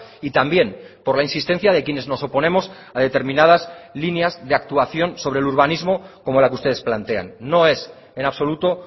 y también por la insistencia de quienes nos oponemos a determinadas líneas de actuación sobre el urbanismo como la que ustedes plantean no es en absoluto